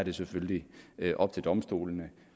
er selvfølgelig op til domstolene